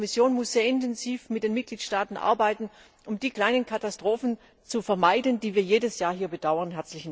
Das heißt, die Kommission muss sehr intensiv mit den Mitgliedstaaten arbeiten, um die kleinen Katastrophen zu vermeiden, die wir jedes Jahr hier bedauern.